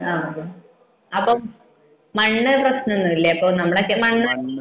ആഹ് അപ്പൊ മണ്ണ് പ്രശനമൊന്നും ഇല്ലേ നമ്മളൊക്കെ മണ്ണ്